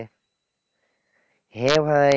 হ্যাঁ ভাই,